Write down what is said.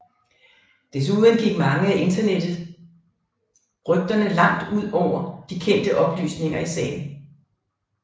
Desuden gik mange af internettet rygterne langt ud over de kendte oplysninger i sagen